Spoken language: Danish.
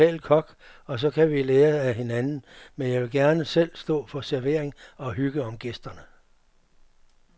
Jeg vil ansætte en lokal kok, og så kan vi lære af hinanden, men jeg vil gerne selv stå for servering og hygge om gæsterne.